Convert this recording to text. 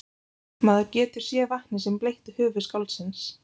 Maður getur séð vatnið sem bleytti höfuð skáldsins.